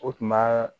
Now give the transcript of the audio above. O tuma